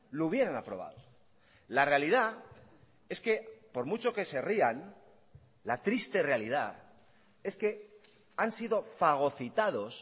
lo hubieran aprobado la realidad es que por mucho que se rían la triste realidad es que han sido fagocitados